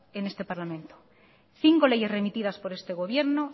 en este parlamento cinco leyes remitidas por este gobierno